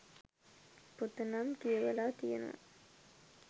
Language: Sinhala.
පොත නම් කියවලා තියෙනවා.